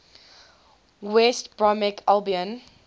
west bromwich albion